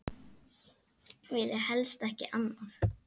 Vilja helst ekki annað.